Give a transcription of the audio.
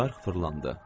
Çarx fırlandı.